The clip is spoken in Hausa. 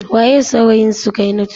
Waye saurayin Sukainatu?